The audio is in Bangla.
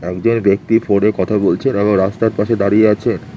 একজন ব্যক্তি ফোনে কথা বলছে এবং রাস্তার পাশে দাঁড়িয়ে আছেন।